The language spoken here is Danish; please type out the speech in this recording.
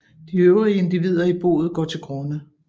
De øvrige individer i boet går til grunde